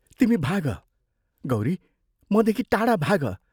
तिमी भाग, गौरी मदेखि टाढा भाग।